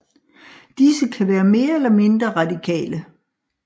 Disse kan være mere eller mindre radikale